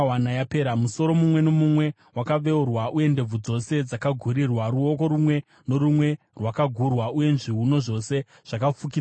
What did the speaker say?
Musoro mumwe nomumwe wakaveurwa, uye ndebvu dzose dzakagurirwa; ruoko rumwe norumwe rwakagurwa, uye zviuno zvose zvakafukidzwa namasaga.